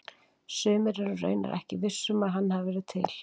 sumir eru raunar ekki vissir um að hann hafi verið til